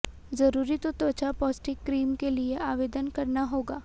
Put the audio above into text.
जरूरी तो त्वचा पौष्टिक क्रीम के लिए आवेदन करना होगा